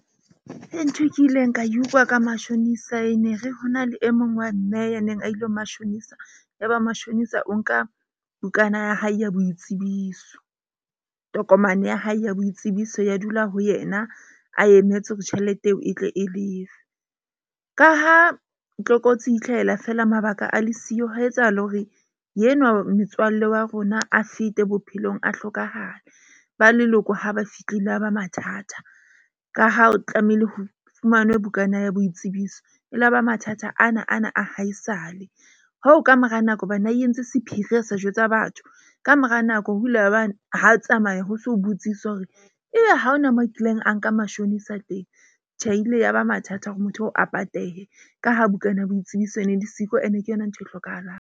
Ntho e kileng ka utlwa ka mashonisa ene, re hona le e mong wa mme ya neng a ile ho mashonisa. Yaba mashonisa o nka bukana ya hae ya boitsebiso, tokomane ya hae ya boitsebiso ya dula ho yena a emetse hore tjhelete eo e tle e lefe. Ka ha tlokotsi e itlhahela fela mabaka a le siyo ho etsahale hore enwa motswalle wa rona a fete bophelong, a hlokahale. Ba leloko ha ba fihlile, a ba mathata. Ka ha o tlamehile ho fumanwe bukana ya boitsebiso. E laba mathata ana ana a haesale hoo ka mora nako hobane ha di entse sephiri a sa jwetsa batho. Ka mora nako ho ile ya ba ha tsamaya ho so botsiswa hore, ebe ha hona mo kileng a nka mashonisa teng? Tjhe, e ile ya ba mathata hore motho oo a patehe ka ha bukana ya boitsebiso ene le siko ene ke yona ntho e hlokahalang.